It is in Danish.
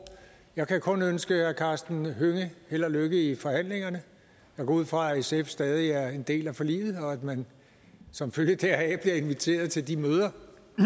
jeg kan kun ønske herre karsten hønge held og lykke i forhandlingerne jeg går ud fra at sf stadig er en del af forliget og at man som følge deraf bliver inviteret til de møder